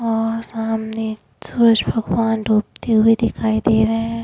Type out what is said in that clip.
और सामने सूरज भगवान डूबते हुए दिखाई दे रहे हैं।